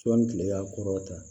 Sɔɔni kile y'a kɔrɔta